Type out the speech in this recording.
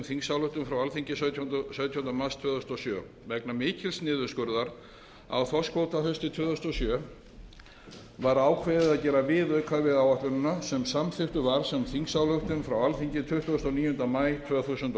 þingsályktun frá alþingi sautjánda mars tvö þúsund og sjö vegna mikils niðurskurðar á þorskkvóta haustið tvö þúsund og sjö var ákveðið að gera viðauka við áætlunina sem samþykktur var sem þingsályktun frá alþingi tuttugasta og níunda maí tvö þúsund